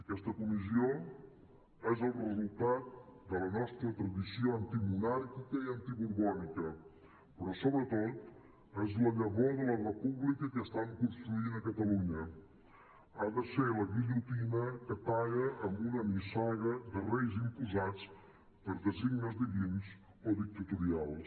aquesta comissió és el resultat de la nostra tradició antimonàrquica i antiborbònica però sobretot és la llavor de la república que estam construint a catalunya ha de ser la guillotina que talla amb una nissaga de reis imposats per designis divins o dictatorials